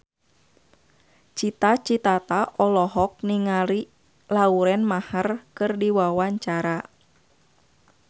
Cita Citata olohok ningali Lauren Maher keur diwawancara